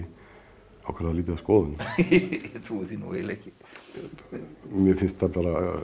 ákaflega lítið af skoðunum ég trúi því nú eiginlega ekki mér finnst það bara